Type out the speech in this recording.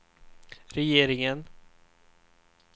regeringen